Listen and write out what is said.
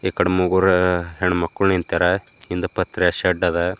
ಇಕಡ ಮುಗೊರ ಹೆಣ್ಣ ಮಕ್ಕಳ ನಿಂತರ ಹಿಂದ ಪತ್ರೆ ಶೆಡ್ದ ಅದ.